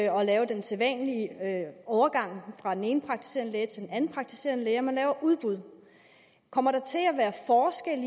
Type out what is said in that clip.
og lave den sædvanlige overgang fra den ene praktiserende læge til den anden praktiserende læge man laver udbud kommer der til at være forskel